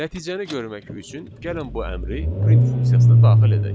Nəticəni görmək üçün gəlin bu əmri print funksiyasına daxil edək.